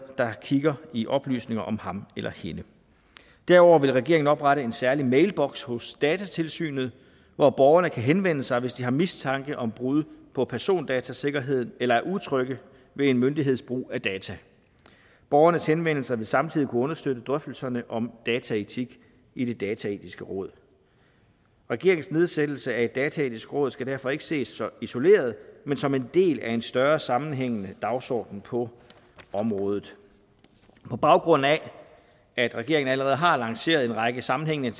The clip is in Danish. der kigger i oplysninger om ham eller hende derudover vil regeringen oprette en særlig mailboks hos datatilsynet hvor borgerne kan henvende sig hvis de har mistanke om brud på persondatasikkerheden eller er utrygge ved en myndigheds brug af data borgernes henvendelser vil samtidig kunne understøtte drøftelserne om dataetik i det dataetiske råd regeringens nedsættelse af et dataetisk råd skal derfor ikke ses så isoleret men som en del af en større sammenhængende dagsorden på området på baggrund af at regeringen allerede har lanceret en række sammenhængende